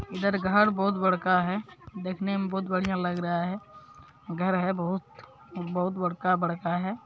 इधर घर बहुत बड़का है देखने में बहुत बढ़िया लग रहा है घर है बहुत-बहुत बड़का-बड़का है।